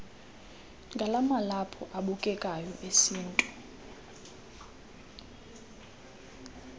ngamalaphu abukekayo esintu